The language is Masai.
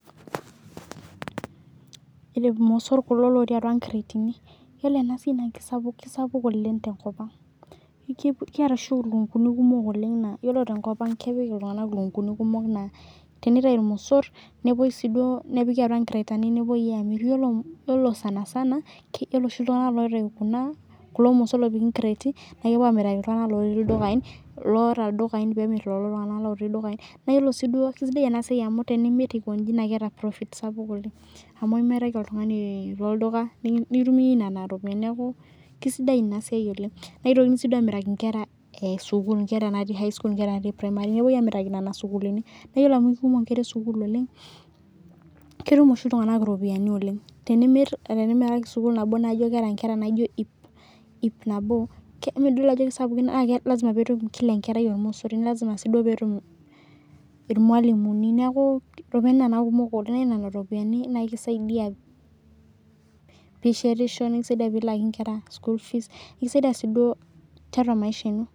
Irmosor kulo lotii atua cretin ,ore enasiai naa kisapuk oleng tenkopang, kiata oshi ilukunguni kumok oleng naa teniutau irmosor nepiki atua cretin nepuoi amiraki iltunganak lotii ildukai naa kisidai amu tenimir naa keeta profit sapuk niaku kisidai inasiai oleng', neitokini amiraki nkera natii sukuul.